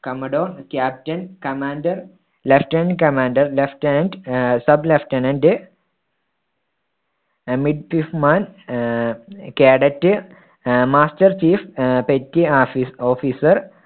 commodore, captain, commander, lieutenant commander, lieutenant ah sub lieutenant ah ah cadet ah master chief ah petty ah officer